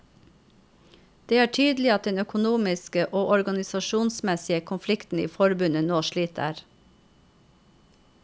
Det er tydelig at den økonomiske og organisasjonsmessige konflikten i forbundet nå sliter.